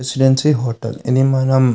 residency hotel ఇది మనం--